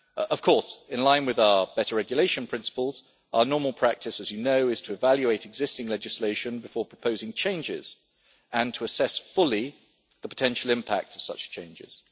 Of course, in line with our better regulation principles, our normal practice as you know is to evaluate existing legislation before proposing changes, and to assess fully the potential impact of such changes.